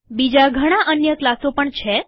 બીજા ઘણા અન્ય ક્લાસો પણ છે